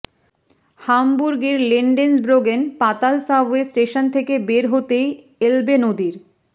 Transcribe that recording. হামবুর্গের লেন্ডেন্সব্রোগেন পাতাল subway station থেকে বের হতেই এলবে নদীর